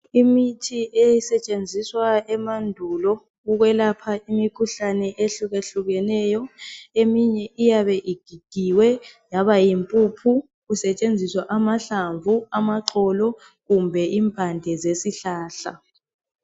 Imithi eyayisetshenziswa emandulo ukwelapha imikhuhlane ehluka hlukeneyo eminye iyabe igigiwe yabayimpuphu kusetshenziswa amahlamvu amaxolo kumbe impande zesihlahla